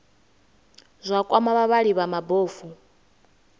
zwa kwama vhavhali vha mabofu